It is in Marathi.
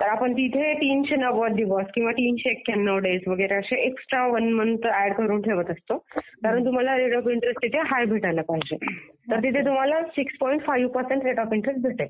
तर आपण तिथं तीनशे नव्वद दिवस किंवा तीनशे एक्यन्नाव दिवस वगैरे असे एक्स्ट्रा वन मंथ वगैरे ऍड करून ठेवत असतो. कारण तुम्हाला रेट ऑफ इंट्रेस्ट त्याचे हाय भेटायला पाहिजे. तर तिथं तुहला six point five percent rate of interest भेटेल